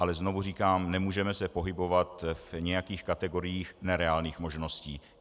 Ale znovu říkám, nemůžeme se pohybovat v nějakých kategorií nereálných možností.